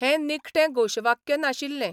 हें निखटें घोशवाक्य नाशिल्लें.